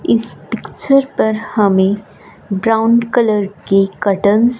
इस पिक्चर पर हमें ब्राउन कलर की कर्टन्स --